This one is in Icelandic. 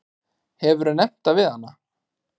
Hefurðu nefnt það við hana?